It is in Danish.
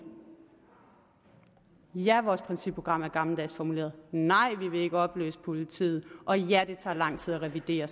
ja vores principprogram er gammeldags formuleret nej vi vil ikke opløse politiet og ja det tager lang tid at revidere